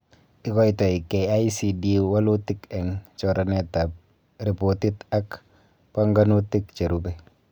Ikoitoi KICD walutik eng choranetab ripotit ak banganutik cherube